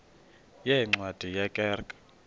yeencwadi ye kerk